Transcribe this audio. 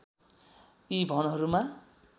यी भवनहरूमा